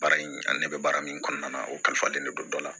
Baara in a ne bɛ baara min kɔnɔna na o kalifalen ne don dɔ la